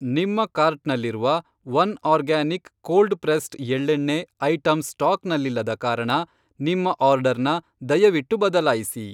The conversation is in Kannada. ನಿಮ್ಮ ಕಾರ್ಟ್ನಲ್ಲಿರುವ ಒನ್ಆರ್ಗ್ಯಾನಿಕ್ ಕೋಲ್ಡ್ ಪ್ರೆಸ್ಡ್ ಎಳ್ಳೆಣ್ಣೆ ಐಟಂ ಸ್ಟಾಕ್ನಲ್ಲಿಲ್ಲದ ಕಾರಣ ನಿಮ್ಮ ಆರ್ಡರ್ನ ದಯವಿಟ್ಟು ಬದಲಾಯಿಸಿ.